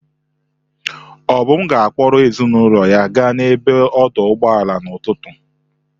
Obum ga-akpọrọ ezinụlọ ya gaa n'ebe odoo ụgbọala n'ụtụtụ.